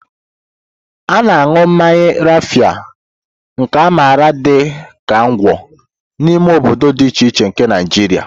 A na-aṅụ mmanya Rafia, nke a maara dị ka Ngwo, n'ime obodo dị iche iche nke Naijiria.